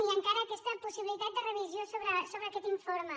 hi ha encara aquesta possibilitat de revisió sobre aquest informe